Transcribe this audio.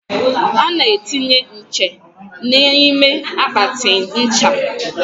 a na-etinye nche n'ime akpatị ncha.